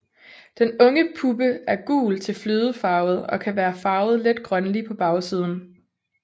Den unge puppe er gul til flødefarvet og kan være farvet let grønlig på bagsiden